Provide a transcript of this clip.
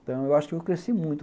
Então, eu acho que eu cresci muito.